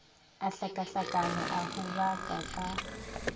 a hlakahlakana a hubaka a